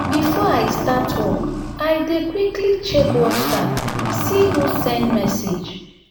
before i start work i dey quickly check whatsapp see who send message.